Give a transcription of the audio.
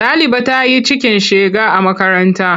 Ɗaliba ta yi cikin shega a makaranta.